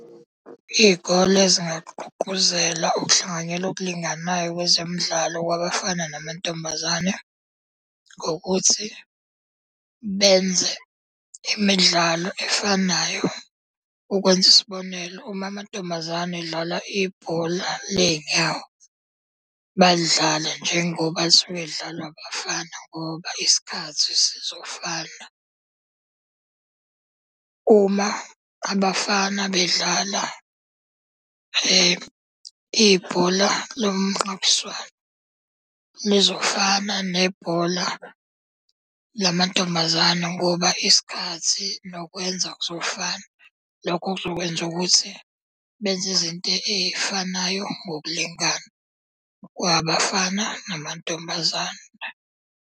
Iy'kole zingagqugquzela ukuhlanganyela okulinganayo kwezemidlalo kwabafana namantombazane ngokuthi benze imidlalo efanayo. Ukwenza isibonelo, uma amantombazane edlala ibhola ley'nyawo, balidlale njengoba lisuke lidlalwa abafana ngoba isikhathi sizofana. Uma abafana bedlala ibhola lomnqakiswano, lizofana nebhola lamantombazane ngoba isikhathi nokwenza kuzofana. Lokho kuzokwenza ukuthi benze izinto ey'fanayo ngokulingana kwabafana namantombazane.